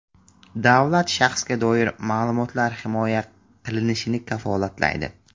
Davlat shaxsga doir ma’lumotlar himoya qilinishini kafolatlaydi.